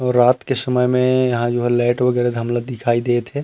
और रात के समय में यहाँ जो है लाइट वगेरा धमला दिखाई देवत हे।